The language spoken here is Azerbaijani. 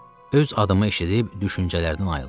Öz adımı eşidib düşüncələrdən ayıldım.